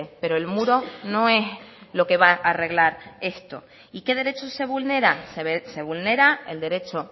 pero el muro no es lo que va a arreglar esto y qué derecho se vulnera se vulnera el derecho